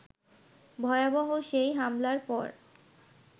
ভয়াবহ সেই হামলার পর